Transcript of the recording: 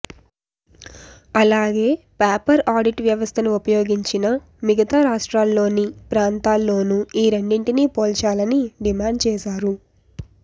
అలాగే paper audit వ్యవస్థను ఉపయోగించిన మిగతా రాష్ట్రాల్లోని ప్రాంతాల్లోనూ ఈ రెండింటిని పోల్చాలని డిమాండ్ చేశారు